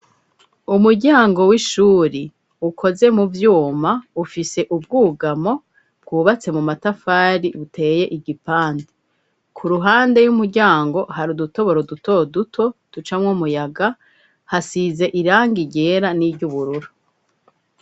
Umuryango w'ishure ukoze mu vyuma ufise ubwugamo bwubatse mu matafari uteye igipande , ku ruhande y'umuryango hari udutoboro dutoduto ducamwo umuyaga hasize irangi ryera n'iry'ubururu.